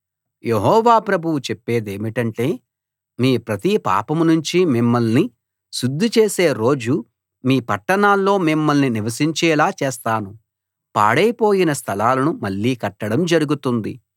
యెహోవా ప్రభువు చెప్పేదేమిటంటే మీ ప్రతి పాపం నుంచి మిమ్మల్ని శుద్ధి చేసే రోజు మీ పట్టణాల్లో మిమ్మల్ని నివసించేలా చేస్తాను పాడైపోయిన స్థలాలను మళ్ళీ కట్టడం జరుగుతుంది